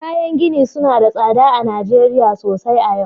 Kayan gini suna da tsada sosai a Najeriya sosai a yau